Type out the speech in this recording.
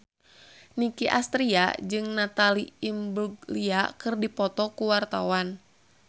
Nicky Astria jeung Natalie Imbruglia keur dipoto ku wartawan